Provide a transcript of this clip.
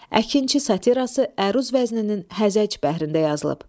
Əkinçi satirası Əruz vəzninin hərəc bəhrində yazılıb.